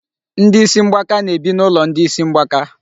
Ndị isi mgbaka na-ebi n'ụlọ ndị isi mgbaka.